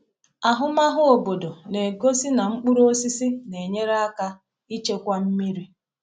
Ahụmahụ obodo na-egosi na mkpụrụ osisi na-enyere aka ichekwa mmiri.